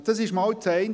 Das ist das eine.